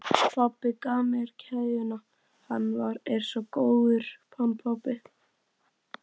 Pabbi gaf mér keðjuna, hann er svo góður, hann pabbi.